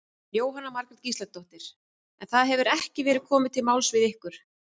Jóhanna Margrét Gísladóttir: En það hefur ekki verið komið til máls við ykkur?